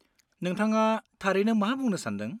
नोंथाङा थारैनो मा बुंनो सान्दों?